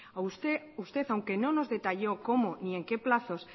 usted aunque no nos detalló cómo ni en qué plazos